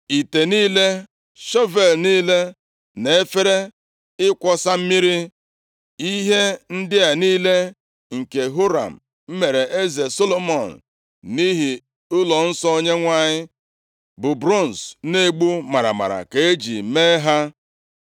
ite niile, shọvel niile na efere ịkwọsa mmiri. Ihe ndị a niile nke Huram meere eze Solomọn nʼihi ụlọnsọ Onyenwe anyị, bụ bronz na-egbu maramara ka eji mee ha.